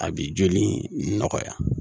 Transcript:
A bi joli nɔgɔya